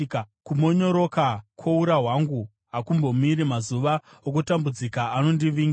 Kumonyoroka kwoura hwangu hakumbomiri; mazuva okutambudzika anondivinga.